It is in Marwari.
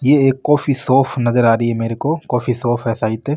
ये एक कॉफी शॉप नजर आ रही मेरे को कॉफ़ी शॉप है सायद।